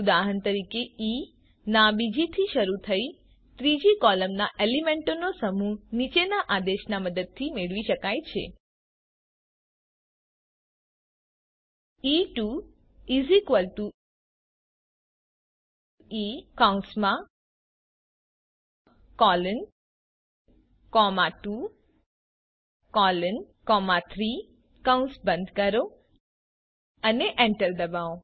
ઉદાહરણ તરીકે ઇ ના બીજી થી શરૂ થઇ ત્રીજી કોલોમના એલિમેન્ટોનો સમૂહ નીચેના આદેશની મદદથી મેળવી શકાય છે gtE2 E23 કૌસ બંધ કરો અને એન્ટર ડબાઓ